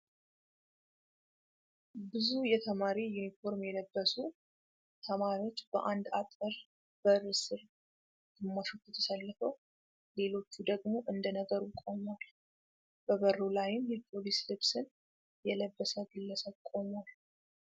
ብዙ የተማሪ ዩኒፎርም የለበሱ ተማሪዎች በአንድ አጥር በር ስር ግማሾቹ ተሰልፈው ሌሎቹ ደግሞ እንደነገሩ ቆመዋል። በበሩ ላይም የፖሊስ ልብስን የለበሰ ግለሰብ ቆሟል።